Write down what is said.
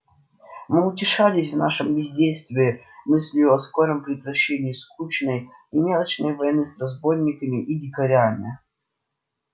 мы утешались в нашем бездействии мыслию о скором прекращении скучной и мелочной войны с разбойниками и дикарями